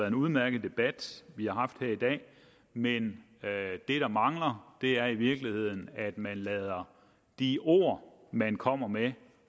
en udmærket debat vi har haft her i dag men det der mangler er i virkeligheden at man lader de ord man kommer med